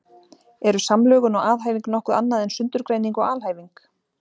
Eru samlögun og aðhæfing nokkuð annað en sundurgreining og alhæfing?